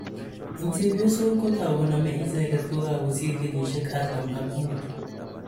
Eng' chepyosok kotau koname icheket kokakosir kenyishek artam ak muut